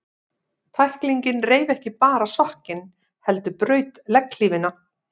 Tæklingin reif ekki bara sokkinn, heldur braut legghlífina.